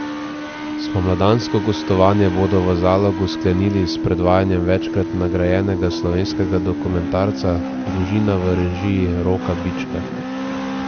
Spomladansko gostovanje bodo v Zalogu sklenili s predvajanjem večkrat nagrajenega slovenskega dokumentarca Družina v režiji Roka Bička.